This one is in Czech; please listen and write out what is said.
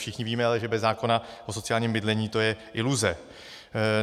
Všichni ale víme, že bez zákona o sociálním bydlení to je iluze.